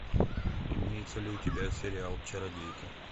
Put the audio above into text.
имеется ли у тебя сериал чародейки